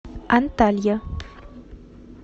анталья